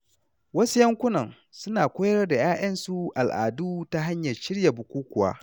Wasu yankunan suna koyar da ‘ya’yansu al’adu ta hanyar shirya bukukuwa.